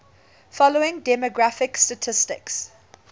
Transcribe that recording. following demographic statistics